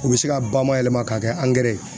U bɛ se ka ba mayɛlɛma k'a kɛ ye